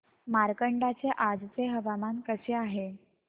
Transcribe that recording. मार्कंडा चे आजचे हवामान कसे आहे